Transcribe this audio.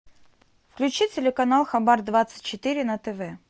включи телеканал хабар двадцать четыре на тв